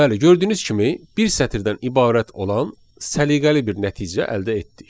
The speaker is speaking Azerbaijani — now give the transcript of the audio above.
Bəli, gördüyünüz kimi bir sətirdən ibarət olan səliqəli bir nəticə əldə etdik.